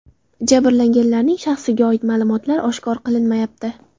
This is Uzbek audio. Jabrlanganlarning shaxsiga oid ma’lumotlar oshkor qilinmayapti.